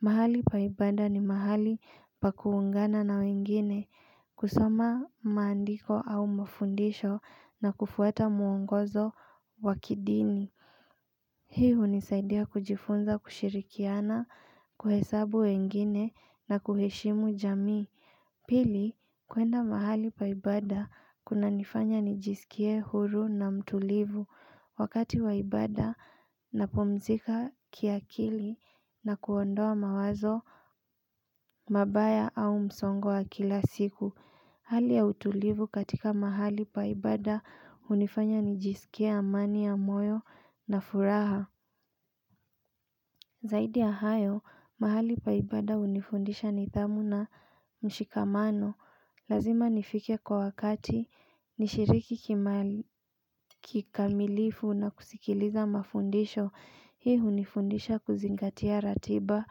Mahali pa ibada, ni mahali pa kuungana na wengine, kusoma maandiko au mafundisho na kufwata muongozo wa kidini. Hii hunisaidia kujifunza kushirikiana, kuhesabu wengine, na kuheshimu jamii. Pili, kuenda mahali pa ibada kunanifanya nijisikie huru na mtulivu. Wakati wa ibada napumzika kiakili na kuondoa mawazo mabaya au msongo wa kila siku Hali ya utulivu katika mahali pa ibada hunifanya nijisikie amani ya moyo na furaha Zaidi ya hayo, mahali pa ibada hunifundisha nidhamu na mshikamano Lazima nifike kwa wakati nishiriki kikamilifu na kusikiliza mafundisho Hii hunifundisha kuzingatia ratiba,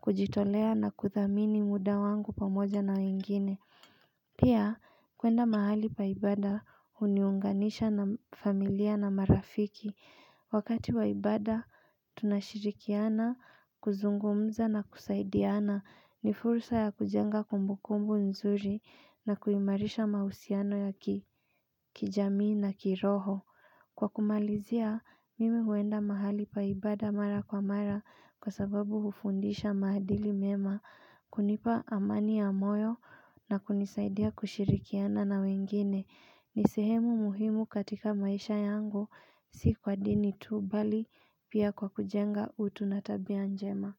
kujitolea na kudhamini muda wangu pamoja na wengine Pia, kuenda mahali pa ibada huniunganisha na familia na marafiki Wakati wa ibada, tunashirikiana, kuzungumza na kusaidiana, ni fursa ya kujenga kumbukumbu nzuri na kuimarisha mahusiano ya kijamii na kiroho. Kwa kumalizia, mimi huenda mahali pa ibada mara kwa mara, kwa sababu hufundisha maaadili mema, kunipa amani ya moyo, na kunisaidia kushirikiana na wengine. Ni sehemu muhimu katika maisha yangu si kwa dini tu, mbali pia kwa kujenga utu na tabia njema.